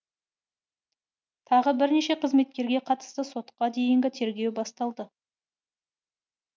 тағы бірнеше қызметкерге қатысты сотқа дейінгі тергеу басталды